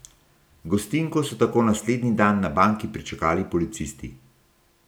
Gostinko so tako naslednji dan na banki pričakali policisti.